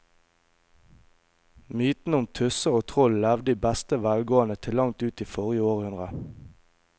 Mytene om tusser og troll levde i beste velgående til langt inn i forrige århundre.